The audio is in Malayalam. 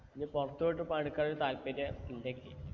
ഇനി പുറത്തു പോയിട്ട് പണിയെടുക്കാൻ താല്പര്യം ഇണ്ടെക്കി